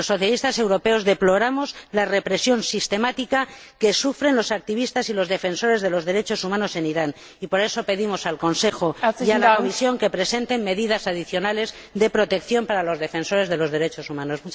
Los socialistas europeos deploramos la represión sistemática que sufren los activistas y los defensores de los derechos humanos en Irán y, para ello, pedimos al Consejo y a la Comisión que presenten medidas adicionales de protección para los defensores de los derechos humanos.